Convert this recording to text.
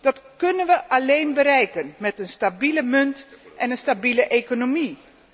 Dat kunnen wij alleen bereiken met een stabiele munt en een stabiele economie.